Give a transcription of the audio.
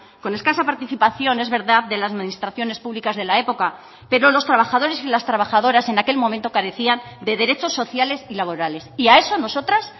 con escasa participación es verdad de las administraciones públicas de la época pero los trabajadores y las trabajadoras en aquel momento carecían de derechos sociales y laborales y a eso nosotras